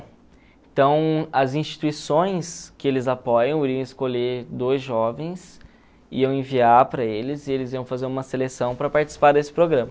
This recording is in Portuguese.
Então, as instituições que eles apoiam iriam escolher dois jovens, iam enviar para eles e eles iam fazer uma seleção para participar desse programa.